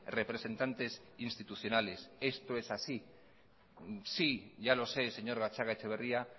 representantes institucionales esto es así sí ya lo sé señor gatzagaetxebarria